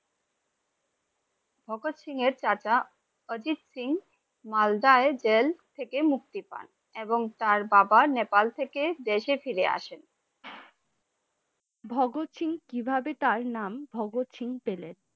ভাগত সিংহ কিভাবে তার নাম ভাগত সিংহ পেলেন? ভাগত সিংহের চাচা অজিত সিং মালদায় জেল থেকে মুক্তি পান এবং তার বাবা নেপাল থেকে দেশে ফিরে আসেন ।